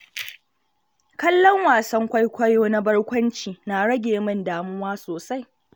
Kallon wasan kwaikwayo na barkwanci na rage min damuwa sosai.